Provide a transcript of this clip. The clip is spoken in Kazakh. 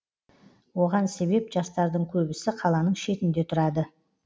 оған себеп жастардың көбісі қаланың шетінде тұрады